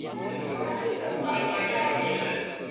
Mionwogik chechang koname taritik